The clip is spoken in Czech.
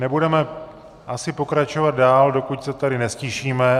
Nebudeme asi pokračovat dál, dokud se tady neztišíme.